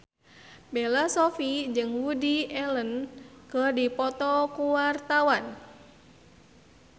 Bella Shofie jeung Woody Allen keur dipoto ku wartawan